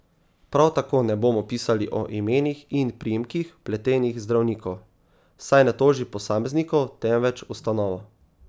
Prav tako ne bomo pisali o imenih in priimkih vpletenih zdravnikov, saj ne toži posameznikov, temveč ustanovo.